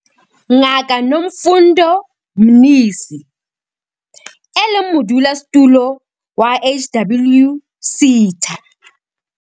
Ngaka Nomfundo Mnisi, e leng Modulasetulo wa HWSETA.